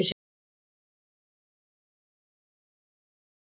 Hálfdán Gíslason Valur